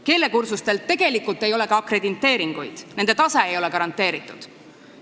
Keelekursustele ei anta ka akrediteeringuid, nende tase ei ole garanteeritud.